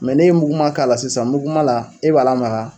n'e ye muguma k'a la sisan muguma la e b'a lamaga